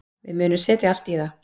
Við munum setja allt í það.